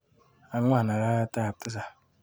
Agwan arawetap tisap.